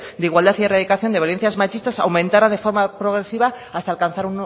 de igualdad y erradicación de violencias machistas aumentara de forma progresiva hasta alcanzar